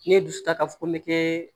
Ne ye dusu ta ka fɔ ko n be kɛ